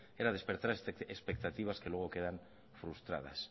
era despertar expectativas que luego quedan frustradas